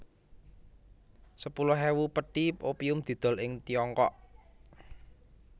Sepuluh ewu pethi opium didol ing Tiongkok